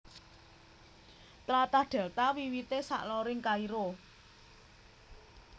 Tlatah Dèlta wiwité saloring Kairo